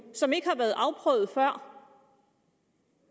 som ikke har været afprøvet og